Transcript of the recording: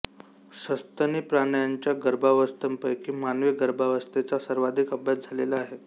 सस्तनी प्राण्यांच्या गर्भावस्थांपैकी मानवी गर्भावस्थेचा सर्वाधिक अभ्यास झालेला आहे